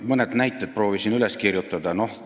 Mõned näited ma proovisin üles kirjutada.